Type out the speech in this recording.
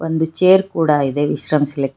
ಒಂದು ಚೇರ್ ಕೂಡ ಇದೆ ವಿಶ್ರಮಿಸಲಿಕ್--